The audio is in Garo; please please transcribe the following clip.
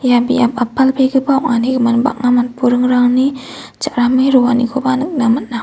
ia biap a·palbegipa ong·ani gimin bang·a matburingrangni cha·rame roanikoba nikna man·a.